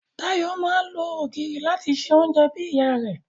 Dayọ̀ máa ń lo ògìrì láti se oúnjẹ bí ìyá rẹ̀